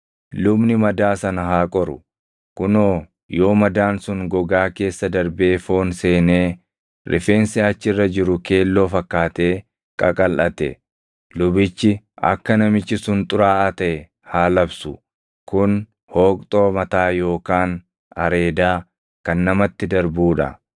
lubni madaa sana haa qoru; kunoo yoo madaan sun gogaa keessa darbee foon seenee rifeensi achi irra jiru keelloo fakkaatee qaqalʼate, lubichi akka namichi sun xuraaʼaa taʼe haa labsu; kun hooqxoo mataa yookaan areedaa kan namatti darbuu dha.